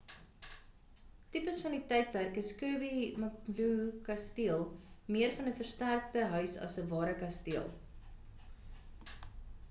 tipies van die tydperk is kirby muxloe kasteel meer van 'n versterkte huis as 'n ware kasteel